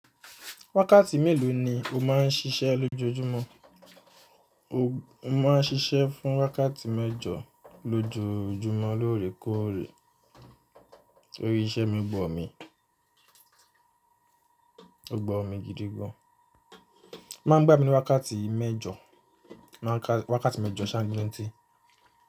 Wákàtí mélòó ni o máà ń ṣiṣẹ́ lójoojúmọ́? Mo máà ń ṣiṣẹ́ fún wákàtí mẹ́jọ lójoojúmọ́ lóòrèkóòrè. Orí iṣẹ́ mi bọ̀ mí, ó gba mi gidigan. O Máa ń gba mi ní wákàtí mẹ́jọ, wákàtí mẹ́jọ ṣángiliti.